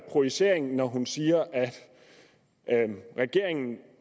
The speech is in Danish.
projicering når hun siger at regeringen